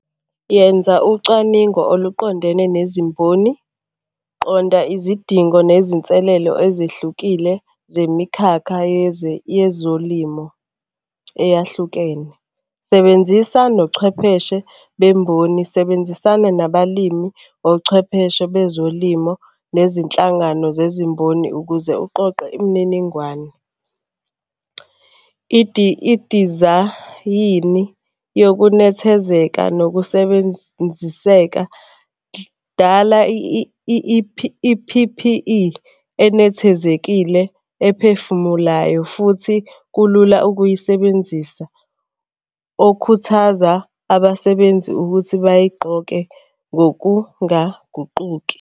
Yenza ucwaningo oluqondene nezimboni. Qonda izidingo nezinselelo ezihlukile zemikhakha yezolimo eyahlukene. Sebenzisa nochwepheshe bemboni, sebenzisana nabalimi, ochwepheshe bezolimo, nezinhlangano zezimboni ukuze uqoqe imininingwane. Idizayini yokunethezeka nokusebenziseka. Dala i-P_P_E enethezekile ephefumulayo futhi kulula ukuyisebenzisa okhuthaza abasebenzi ukuthi bayigqoke ngokungaguquki.